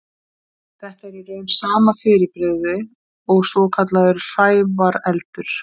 Þetta er í raun sama fyrirbrigði og svokallaður hrævareldur.